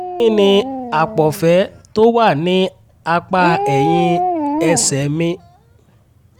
kí ni àpọ̀fẹ́ tó wà ní apá ẹ̀yìn ẹsẹ̀ mi?